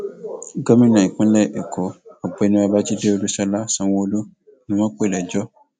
gómìnà ìpínlẹ èkó ọgbẹni babájídé olúṣọlá sanwóolu ni wọn pè lẹjọ